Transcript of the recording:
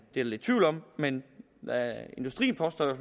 der lidt tvivl om men industrien påstår det